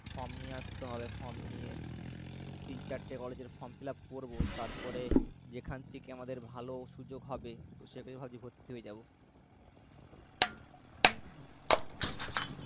Form নিয়ে আসতে হবে form নিয়ে তিন চারটে college এর form fill up করবো, তারপরে যেখান থেকে আমাদের ভালো সুযোগ হবে তো সেখানেই ভাবছি ভর্তি হয়ে যাবো